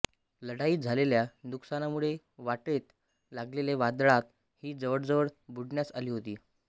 लढाईत झालेल्या नुकसानामुळे वाटेत लागलेल्या वादळात ही जवळजवळ बुडण्यास आली होती